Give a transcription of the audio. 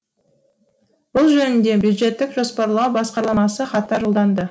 бұл жөнінде бюджеттік жоспарлау басқармасы хаттар жолданды